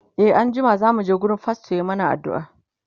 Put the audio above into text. e an jima zamu je wurin fastor ya mana aduua